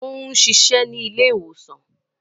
O ń ṣiṣẹ ni ile-iwosan